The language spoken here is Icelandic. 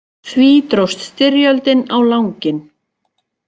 Því dróst styrjöldin á langinn.